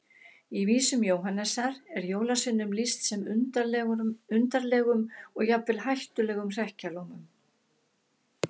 Í vísum Jóhannesar er jólasveinum lýst sem undarlegum og jafnvel hættulegum hrekkjalómum.